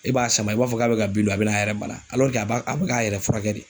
E b'a sama i b'a fɔ k'a bɛ ka bin dun, a bɛna a yɛrɛ bana a b'a a bɛ k'a yɛrɛ furakɛ de.